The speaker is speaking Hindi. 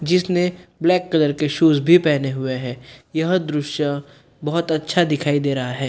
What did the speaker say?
जिसने ब्लैक कलर के शूज भी पहने हुए है यह दृश्य बहुत अच्छा दिखाई दे रहा है।